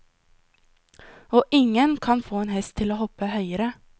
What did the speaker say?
Og ingen kan få en hest til å hoppe høyere.